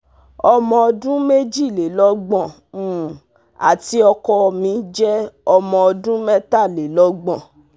ọmọ ọdún mejilelọgbọn um àti ọkọ mi jẹ ọmọ ọdún mẹtalelọgbọn